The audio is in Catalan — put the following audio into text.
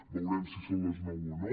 veurem si és a les nou o no